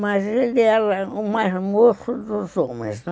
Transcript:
Mas ele era o mais moço dos homens, né?